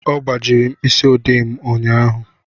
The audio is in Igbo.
Ọ gbajiri m mkpịsị ode ụnyahụ